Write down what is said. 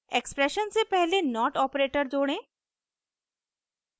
expression से पहले not operator जोड़ें